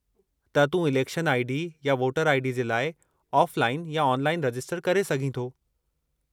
त तूं election ID. या वोटर आई.डी. जे लाइ ऑफ़लाइन या ऑनलाइन रजिस्टर करे सघीं थो।